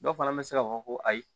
Dɔw fana bɛ se ka fɔ ko ayi